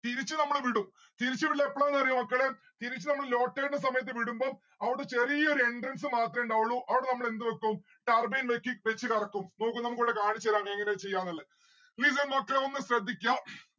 തിരിച്ചു നമ്മള് വിടും. തിരിച്ചു വിടല് എപ്പോളാണ് അറിയോ മക്കളെ തിരിച്ച് നമ്മൾ low tide ന്റെ സമയത്ത് വിടുംബം അവടെ ചെറിയൊരു entrance മാത്രേ ഇണ്ടാവുള്ളു അവിടെ നമ്മളെന്ത് വെക്കും turbine വെക്കി വെച്ച് കറക്കും നോക്ക് നമ്മക്കിവിടെ കാണിച്ച് തരാം എങ്ങനെ ചെയ്യാന്ന് ഇള്ളേ. listen മക്കളെ ഒന്ന് ശ്രദ്ധിക്കാ